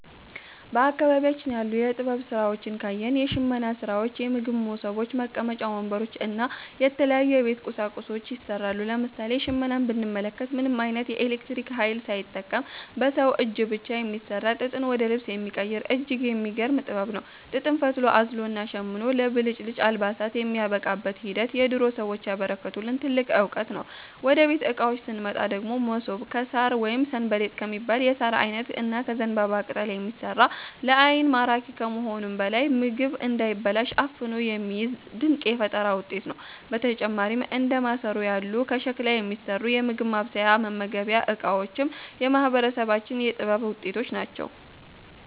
በአካባቢያችን ያሉ የጥበብ ሥራዎችን ካየን፣ የሽመና ሥራዎች፣ የምግብ መሶቦች፣ መቀመጫ ወንበሮች እና የተለያዩ የቤት ቁሳቁሶች ይሠራሉ። ለምሳሌ ሽመናን ብንመለከት፣ ምንም ዓይነት የኤሌክትሪክ ኃይል ሳይጠቀም በሰው እጅ ብቻ የሚሠራ፣ ጥጥን ወደ ልብስ የሚቀይር እጅግ የሚገርም ጥበብ ነው። ጥጥን ፈትሎ፣ አዝሎና ሸምኖ ለብልጭልጭ አልባሳት የሚያበቃበት ሂደት የድሮ ሰዎች ያበረከቱልን ትልቅ ዕውቀት ነው። ወደ ቤት ዕቃዎች ስንመጣ ደግሞ፣ መሶብ ከሣር ወይም 'ሰንበሌጥ' ከሚባል የሣር ዓይነት እና ከዘንባባ ቅጠል የሚሠራ፣ ለዓይን ማራኪ ከመሆኑም በላይ ምግብ እንዳይበላሽ አፍኖ የሚይዝ ድንቅ የፈጠራ ውጤት ነው። በተጨማሪም እንደ ማሰሮ ያሉ ከሸክላ የሚሠሩ የምግብ ማብሰያና መመገቢያ ዕቃዎችም የማህበረሰባችን የጥበብ ውጤቶች ናቸው።